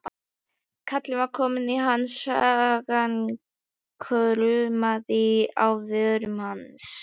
Kallinn var kominn í ham, sagan kraumaði á vörum hans.